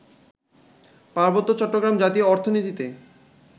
পার্বত্য চট্টগ্রাম জাতীয় অর্থনীতিতে